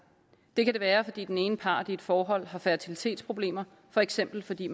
det kan det være fordi den ene part i et forhold har fertilitetsproblemer for eksempel fordi